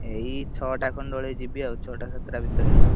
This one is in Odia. ଏଇ ଛଟା ଖଣ୍ଡେ ବେଳେ ଯିବି ଆଉ, ଛଟା ସାତଟା ଭିତରେ ଆଉ।